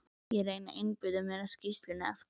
Ég reyndi að einbeita mér að skýrslunni eftir